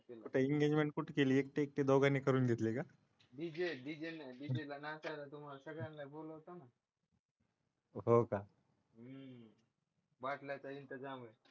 कुठे इंगेजमेंट कुठे केली एकटे एकटे दोघांनी करून घेतली का डीजे डीजे ला नाचायला किंवा सगळ्यांना बोलून घेतो ना हो का बाटल्यांचा इंतजाम आहे.